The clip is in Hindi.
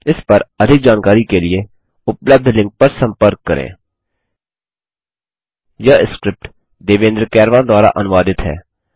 इस पर अधिक जानकारी के लिए उपलब्ध लिंक पर संपर्क करें httpspoken tutorialorgNMEICT Intro यह स्क्रिप्ट देवेन्द्र कैरवान द्वारा अनुवादित है